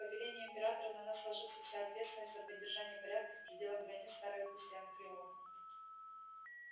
по велению императора на нас ложится вся ответственность за поддержание порядка в пределах границ старой области анакреона